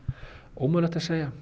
ómögulegt að segja